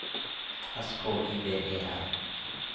S K I V E R